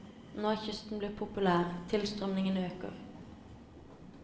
Nå er kysten blitt populær, tilstrømningen øker.